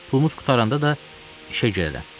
Pulumuz qurtaranda da işə girərəm.